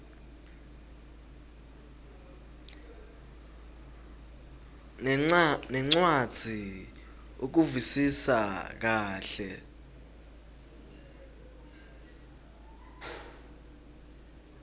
nencwadzi ukuvisisa kahle